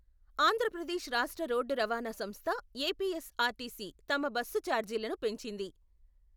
ఆంధ్ర ప్రదేశ్ రాష్ట్ర రోడ్డు రవాణా సంస్థ ఎపిఎస్ఆర్టీసీ తమ బస్సు చార్జీలను పెంచింది.